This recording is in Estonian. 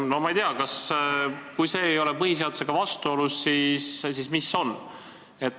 No ma ei tea, kui see ei ole põhiseadusega vastuolus, siis mis asi on.